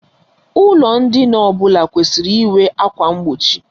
Ụlọ ndina ọbụla kwesịrị inwe ákwà mgbochi.